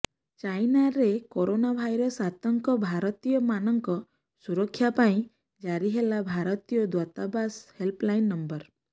ଚାଇନାରେ corona virus ଆତଙ୍କ ଭାରତୀୟ ମାନଙ୍କ ସୁରକ୍ଷା ପାଇଁ ଜାରି ହେଲା ଭାରତୀୟ ଦୂତାବାସ ହେଲପଲାଇନ ନମ୍ବର